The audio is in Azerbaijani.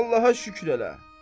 Allaha şükür elə.